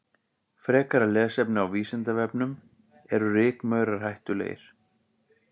Frekara lesefni á Vísindavefnum: Eru rykmaurar hættulegir?